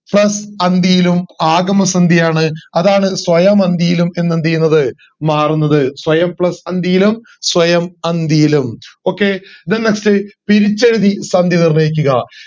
plus അന്തിയിലും ആകുന്ന സന്ധിയാണ്‌ അതാണ് സ്വയമന്തിയിലും എന്ന് എന്ത് ചെയ്യുന്നത് മാറുന്നത് സ്വയം plus അന്തിയിലും സ്വയം അന്തിയിലും okay then next പിരിച്ചെഴുതി സന്ധി നിർണയിക്കുക